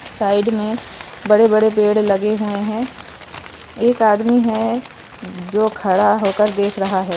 Side में बड़े बड़े पेड़ लगे हुए हैं एक आदमी है जो खड़ा होकर देख रहा है।